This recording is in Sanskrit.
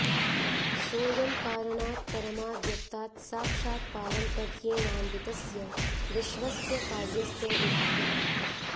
सोऽयं कारणात् परमाव्यक्तात् साक्षात् पारम्पर्येणान्वितस्य विश्वस्य कार्यस्य विभागः